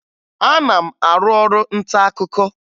Ana m arụ ọrụ ntaakụkọ